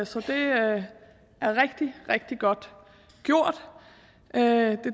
så det er rigtig rigtig godt gjort det